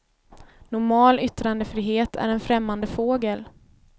Normal yttrandefrihet är en främmande fågel.